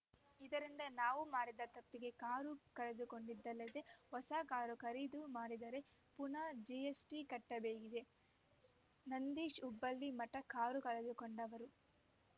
ಇದರಿಂದ ನಾವು ಮಾಡದ ತಪ್ಪಿಗೆ ಕಾರು ಕಳೆದುಕೊಂಡಿದ್ದಲ್ಲದೆ ಹೊಸ ಕಾರು ಖರೀದು ಮಾಡಿದರೆ ಪುನಾ ಜಿಎಸ್‌ಟಿ ಕಟ್ಟಬೇಕಿದೆ ನಂದೀಶ್‌ ಹುಬ್ಬಳ್ಳಿ ಮಠ ಕಾರು ಕಳೆದುಕೊಂಡವರು